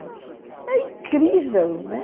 É incrível, né?